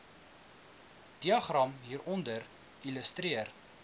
diagram hieronder illustreer